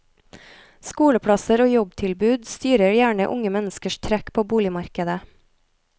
Skoleplasser og jobbtilbud styrer gjerne unge menneskers trekk på boligmarkedet.